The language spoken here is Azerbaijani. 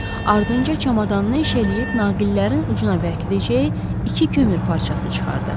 Ardınca çamadanını eşələyib naqillərin ucuna bərkidəcəyi iki kömür parçası çıxartdı.